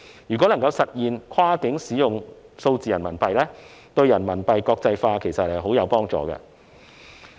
如果能夠實現跨境使用數字人民幣，對人民幣國際化其實十分有幫助。